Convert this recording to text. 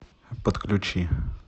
подключи